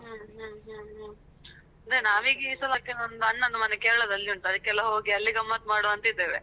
ಹ್ಮ್ಹ್ಮ್ ಹ್ಮ್, ನಾವೀಗ ಈಸಲಕ್ಕೆ ನಂದು ಅಣ್ಣನ್ ಮನೆ ಕೇರಳದಲ್ಲಿ ಉಂಟು ಅದಕ್ಕೆಲ್ಲ Kerala ಗಮ್ಮತ್ ಮಾಡುವ ಅಂತ ಇದ್ದೇವೆ.